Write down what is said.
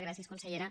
gràcies consellera